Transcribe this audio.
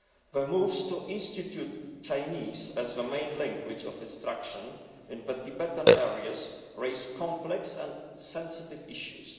The moves to institute Chinese as the main language of instruction in Tibetan areas raise complex and sensitive issues.